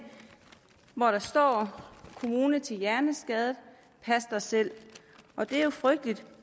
hvor der står kommune til hjerneskadet pas dig selv og det er jo frygteligt